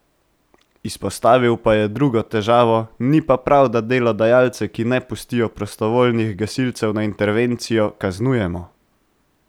Izpostavil pa je drugo težavo: "Ni pa prav, da delodajalce, ki ne pustijo prostovoljnih gasilcev na intervencijo, kaznujemo.